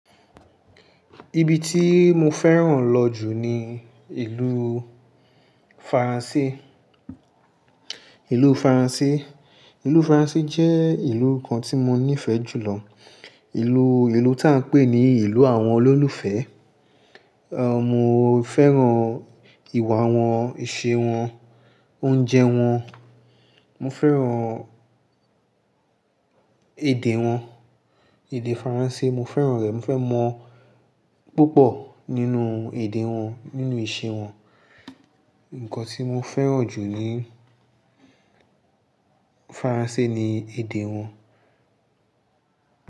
Ibi tí mo fẹ́ràn lọ jù ni ìlú Faransé. Ìlú Faransé, ìlú Faransé jẹ́ ìlú kan tí mo nífẹ̀ẹ́ jù lọ. Ìlú, ìlú tí a ń pè ní ìlú àwọn olólùfẹ́. Ehn, mo fẹ́ràn ìwà wọn, ìṣe wọn, oúnjẹ wọn. Mo fẹ́ràn èdè wọn, èdè Faransé mo fẹ́ràn rẹ̀. Mo fẹ́ mọ púpọ̀ nínú èdè wọn, nínú ìṣe wọn. Ǹkan tí mo fẹ́ràn jù ní Faransé ni èdè wọn.